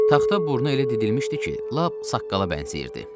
Taxta burnu elə didilmişdi ki, lap saqqala bənzəyirdi.